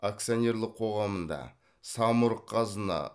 акционерлік қоғамында самұрық қазына